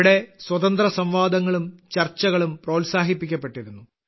ഇവിടെ സ്വതന്ത്രസംവാദങ്ങളും ചർച്ചകളും പ്രോത്സാഹിപ്പിക്കപ്പെട്ടിരുന്നു